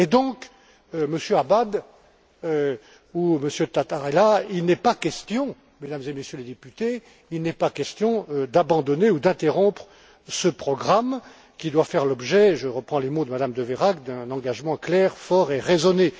Donc, Monsieur Abad ou Monsieur Tatarella, Mesdames et Messieurs les députés, il n'est pas question d'abandonner ou d'interrompre ce programme qui doit faire l'objet je reprends les mots de Mme de Veyrac d'un engagement clair, fort et raisonné.